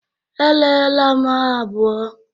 Erela m ha abụo.